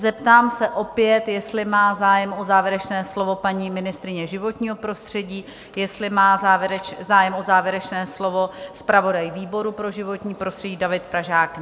Zeptám se opět, jestli má zájem o závěrečné slovo paní ministryně životního prostředí, jestli má zájem o závěrečné slovo zpravodaj výboru pro životní prostředí David Pražák?